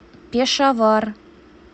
пешавар